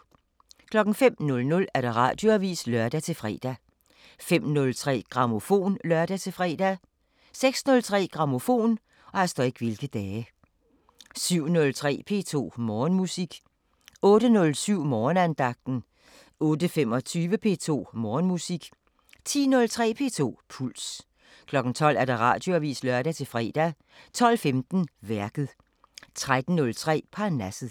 05:00: Radioavisen (lør-fre) 05:03: Grammofon (lør-fre) 06:03: Grammofon 07:03: P2 Morgenmusik 08:07: Morgenandagten 08:25: P2 Morgenmusik 10:03: P2 Puls 12:00: Radioavisen (lør-fre) 12:15: Værket 13:03: Parnasset